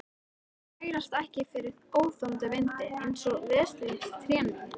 Þær bærast ekki fyrir óþolandi vindi, einsog veslings trén mín.